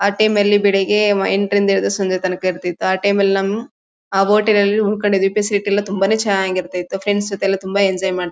ಆ ಟೈಮ್ ಅಲ್ಲಿ ಬೆಳಿಗ್ಗೆ ವ ಎಂಟ್ ರಿಂದ ಹಿಡಿದು ಸಂಜೆ ತನಕ ಇರ್ತಿತ್ತು. ಆ ಟೈಮ್ ಅಲ್ ನಮ್ ಆ ಹೋಟೆಲ್ ಅಲ್ ಉಳ್ಕೊಂಡಿ ಫೆಸಿಲಿಟಿ ತುಂಬಾನೇ ಚನ್ನಾಗಿರ್ತ ಇತ್ತು. ಫ್ರೆಂಡ್ಸ್ ಜೊತೆ ಎಲ್ಲ ತುಂಬಾ ಎಂಜಾಯ್ ಮಾಡ್ತೀವೋ--